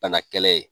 Bana kɛlɛ ye